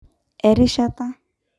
erishata